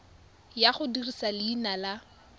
ya go dirisa leina la